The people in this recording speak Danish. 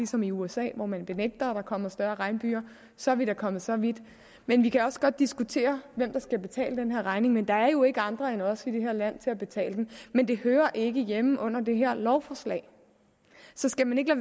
som i usa hvor man benægter at der kommer større regnbyger så er vi da kommet så vidt vi vi kan også godt diskutere hvem der skal betale den her regning men der er jo ikke andre end os i det her land til at betale den men det hører ikke hjemme under det her lovforslag så skal man ikke